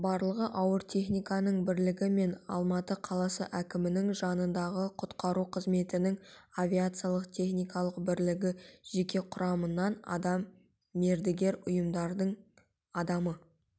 барлығы ауыр техниканың бірлігі мен алматы қаласы әкімінің жанындағы құтқару қызметінің авиациялық техниканың бірлігі жеке құрамынан адам мердігер ұйымдардың адамы